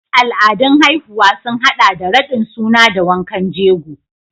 Al'adun haihuwa sun haɗa da raɗin suna da wankan jego.